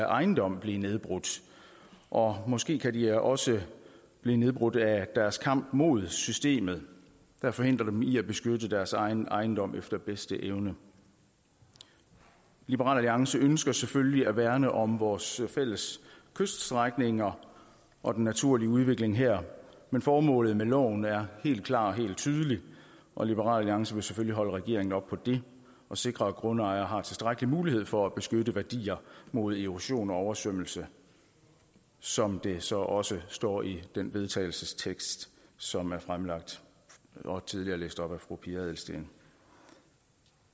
ejendom blive nedbrudt og måske kan de også blive nedbrudt af deres kamp mod systemet der forhindrer dem i at beskytte deres egen ejendom efter bedste evne liberal alliance ønsker selvfølgelig at værne om vores fælles kyststrækninger og den naturlige udvikling her men formålet med loven er helt klart og helt tydeligt og liberal alliance vil selvfølgelig holde regeringen op på det og sikre at grundejere har tilstrækkelig mulighed for at beskytte værdier mod erosion og oversvømmelse som det så også står i den vedtagelsestekst som er fremsat og tidligere læst op af fru pia adelsteen